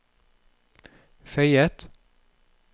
føyet